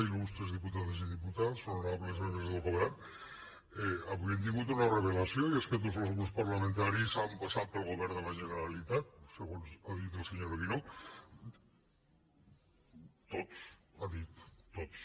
il·tats honorables membres del govern avui hem tingut una revelació i és que tots els grups parlamentaris han passat pel govern de la generalitat segons el que ha dit el senyor guinó tots ha dit tots